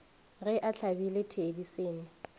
ge a hlabile thedi senna